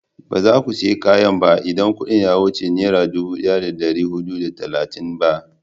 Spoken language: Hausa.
ba za ku saya kayan ba in kudin ya wuce nera dubu daya da dari hudu da talatin ba